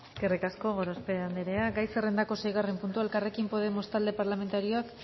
eskerrik asko gorospe andrea gai zerrendako seigarren puntua elkarrekin podemos talde parlamentarioak